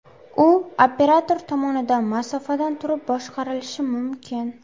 U operator tomonidan masofadan turib boshqarilishi mumkin.